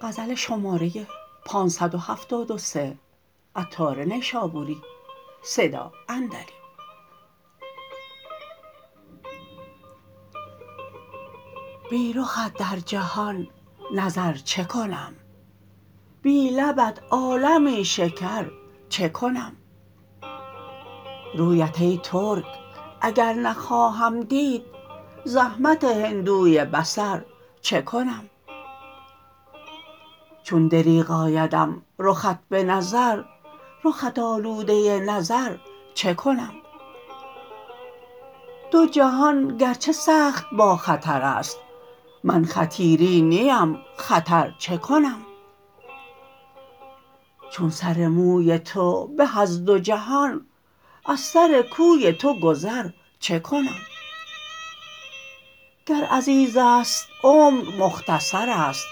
بی رخت در جهان نظر چکنم بی لبت عالمی شکر چکنم رویت ای ترک اگر نخواهم دید زحمت هندوی بصر چکنم چون دریغ آیدم رخت به نظر رخت آلوده نظر چکنم دو جهان گرچه سخت با خطر است من خطیری نیم خطر چکنم چون سر موی تو به از دو جهان از سر کوی تو گذر چکنم گر عزیز است عمر مختصر است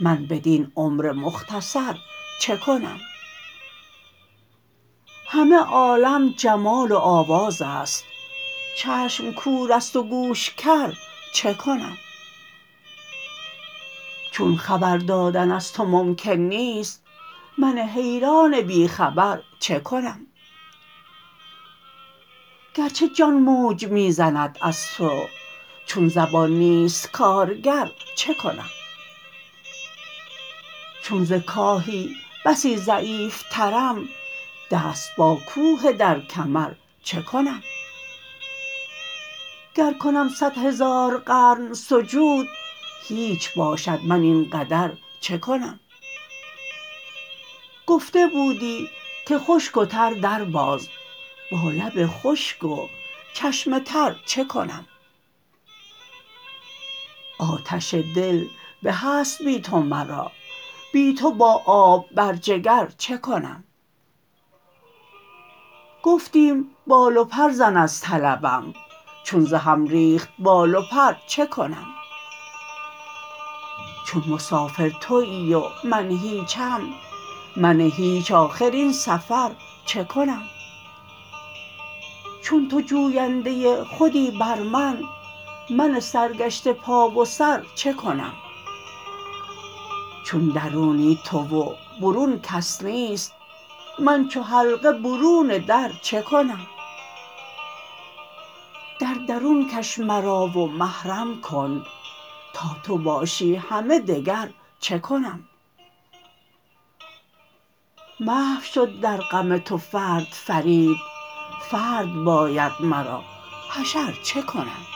من بدین عمر مختصر چکنم همه عالم جمال و آواز است چشم کور است و گوش کر چکنم چون خبر دادن از تو ممکن نیست من حیران بی خبر چکنم گرچه جان موج می زند از تو چون زبان نیست کارگر چکنم چون ز کاهی بسی ضعیف ترم دست با کوه در کمر چکنم گر کنم صد هزار قرن سجود هیچ باشد من این قدر چکنم گفته بودی که خشک و تر در باز با لب خشک و چشم تر چکنم آتش دل به است بی تو مرا بی تو با آب بر جگر چکنم گفتیم بال و پر زن از طلبم چون ز هم ریخت بال و پر چکنم چون مسافر تویی و من هیچم من هیچ آخر این سفر چکنم چون تو جوینده خودی بر من من سرگشته پا و سر چکنم چون درونی تو و برون کس نیست من چو حلقه برون در چکنم در درون کش مرا و محرم کن تا تو باشی همه دگر چکنم محو شد درغم تو فرد فرید فرد باید مرا حشر چکنم